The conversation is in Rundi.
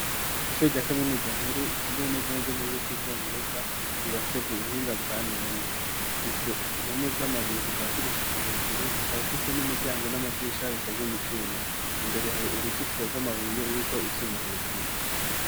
Ishure rya kaminuza nkuru itumbiye neza neze muri guca ubwongereza yubatse ku buhinga bwa none ifise impome z'amabuye kuva hasi gushika hejuru ikaba ifise n'imiryango n'amadisha bikozwe mu cyuma imbere hari uruzitiro rw'amabuye ruriko ivyuma hejuru.